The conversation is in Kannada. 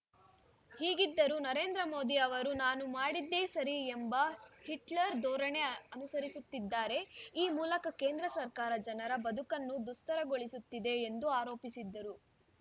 ಹೀಗಿದ್ದರೂ ನರೇಂದ್ರ ಮೋದಿ ಅವರು ನಾನು ಮಾಡಿದ್ದೇ ಸರಿ ಎಂಬ ಹಿಟ್ಲರ್‌ ಧೋರಣೆ ಅನುಸರಿಸುತ್ತಿದ್ದಾರೆ ಈ ಮೂಲಕ ಕೇಂದ್ರ ಸರ್ಕಾರ ಜನರ ಬದುಕನ್ನು ದುಸ್ತರಗೊಳಿಸುತ್ತಿದೆ ಎಂದು ಆರೋಪಿಸಿದರು